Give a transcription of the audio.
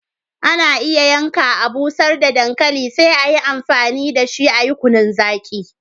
Ana iya yanka, a'busher da dankali sai a yi amfani da shi a'yi kunun zaki.